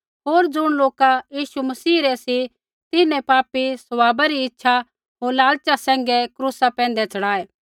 होर ज़ुण लोका यीशु मसीह रै सी तिन्हैं पापी स्वभावा री सारी इच्छा होर लालचा सैंघै क्रूसा पैंधै च़ढ़ायै